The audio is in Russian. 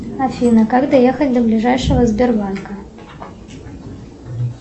афина как доехать до ближайшего сбербанка